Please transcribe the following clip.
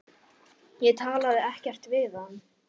Ég talaði ekkert við hann.